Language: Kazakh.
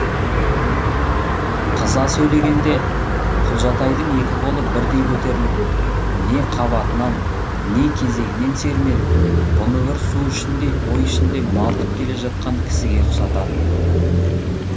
қыза сөйлегенде құлжатайдың екі қолы бірдей көтеріліп не қабатынан не кезегінен сермеліп бұны бір су ішіндей ой ішінде малтып келе жатқан кісіге ұқсататын